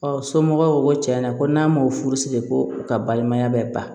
somɔgɔw ko tiɲɛ na ko n'a ma furu siri ko u ka balimaya bɛ ban